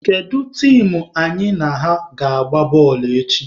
Kedu tim anyị na ha ga-agba bọọlụ echi?